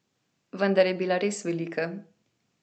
Vendar je bila res velika.